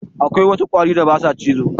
Akwai wasu ƙwari da ba sa cizo.